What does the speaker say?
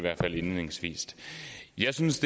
jeg synes